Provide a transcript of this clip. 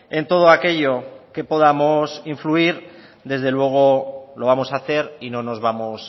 en todo aquello que podamos influir desde luego lo vamos a hacer y no nos vamos